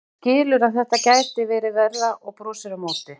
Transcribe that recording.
Hann skilur að þetta gæti verið verra og brosir á móti.